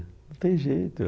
Não tem jeito.